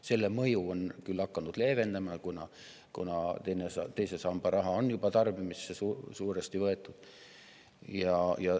Selle mõju on küll hakanud leevenema, kuna teise samba raha on juba suuresti tarbimisse võetud.